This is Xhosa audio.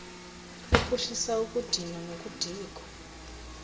ophuhlisa ukudinwa nokudikwa